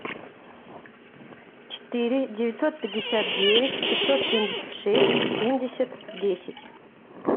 четыре девятьсот пятьдесят девять пятьсот семьдесят шесть семьдесят десять